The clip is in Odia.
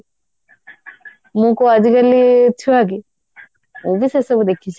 ମୁଁ କଉ ଆଜିକାଲି ଛୁଆକି ମୁଁ ବି ସେସବୁ ଦେଖିଛି